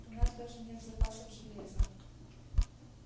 у нас даже нет запасов железа